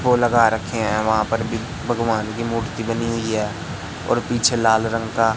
वो लगा रखे हैं वहां पर भी भगवान की मूर्ति बनी हुई है और पीछे लाल रंग का--